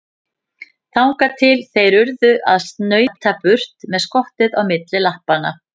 Þangað til þeir urðu að snauta burt með skottið milli lappanna.